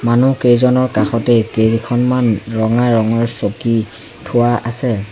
মানু্হকেইজনৰ কাষতে কেইখনমান ৰঙা ৰঙৰ চকী থোৱা আছে।